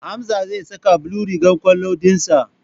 Hamza zai saka blue rigar kwallon dinsa.